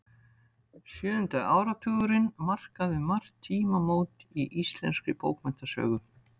Sjöundi áratugurinn markaði um margt tímamót í íslenskri bókmenntasögu.